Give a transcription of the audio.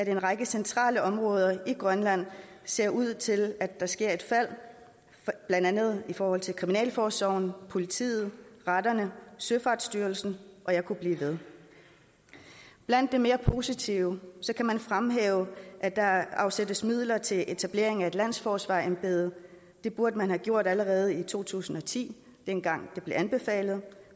en række centrale områder i grønland ser ud til at ske et fald blandt andet i forhold til kriminalforsorgen politiet retterne søfartsstyrelsen og jeg kunne blive ved blandt det mere positive kan man fremhæve at der afsættes midler til etablering af et landsforsvarerembede det burde man have gjort allerede i to tusind og ti dengang det blev anbefalet